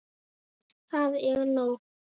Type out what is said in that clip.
Það er nóg.